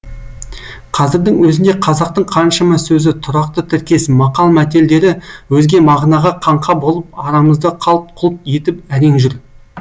қазірдің өзінде қазақтың қаншама сөзі тұрақты тіркес мақал мәтелдері өзге мағынаға қаңқа болып арамызда қалт құлт етіп әрең жүр